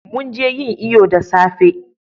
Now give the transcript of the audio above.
mun je yin iyo da safe